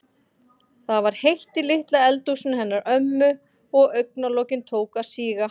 Það var heitt í litla eldhúsinu hennar ömmu og augna- lokin tóku að síga.